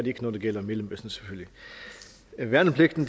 ikke når det gælder mellemøsten værnepligten